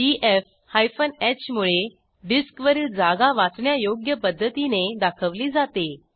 DF h मुळे डिस्कवरील जागा वाचण्यायोग्य पध्दतीने दाखवली जाते